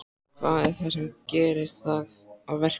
Hvað er það sem gerir það að verkum?